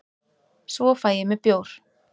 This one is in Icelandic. svo fæ ég mér bjór